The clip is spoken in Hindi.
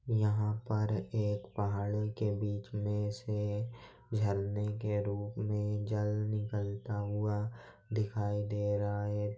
यहाँ पर एक पहाड़ी के बीच में से झरने के रूप में जल निकलता हुआ दिखाई दे रहा है।